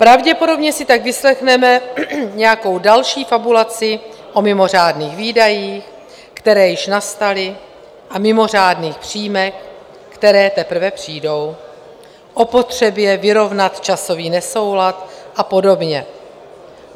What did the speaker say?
Pravděpodobně si tak vyslechneme nějakou další fabulaci o mimořádných výdajích, které již nastaly, a mimořádných příjmech, které teprve přijdou, o potřebě vyrovnat časový nesoulad a podobně.